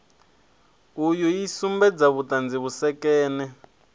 uyu i sumbedza vhuṱala vhusekene